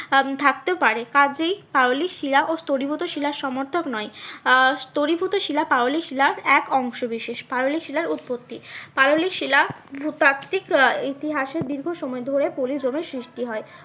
আহ থাকতেও পারে কাজেই পাললিক শিলা ও স্তরীভূত শিলার সমর্থক নয় আহ স্তরীভূত শিলা পাললিক শিলা এক অংশ বিশেষ। পাললিক শিলার উৎপত্তি পাললিক শিলা ভূপ্রাকৃতিক আহ ইতিহাসের দীর্ঘ সময় ধরে পলি জমে সৃষ্টি হয়।